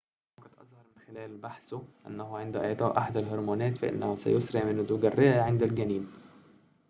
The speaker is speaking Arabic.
وقد أظهر من خلال بحثه أنه عند إعطاء أحد الهرمونات فإنه سيسرع من نضوج الرئة عند الجنين